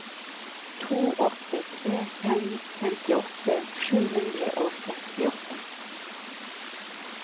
to åtte tre fem femtiåtte sju hundre og sekstiåtte